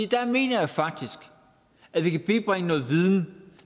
der mener jeg faktisk at vi kan bibringe noget viden